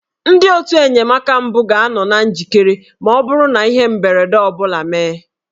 Ndị otù enyemaka mbụ ga-anọ na njikere ma ọ bụrụ na ihe mberede ọ bụla emee